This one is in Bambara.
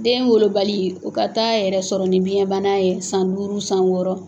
Den wolobali o ka taa yɛrɛ sɔrɔ ni biɲɛbana ye, san duuru, san wɔɔrɔ